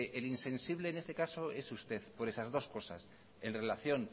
el insensible en este caso es usted por estas dos cosas en relación